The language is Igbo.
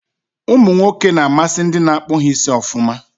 Umụ nwoke n'amasị ndị n'akpu ha isi ọfụma